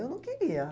Eu não queria.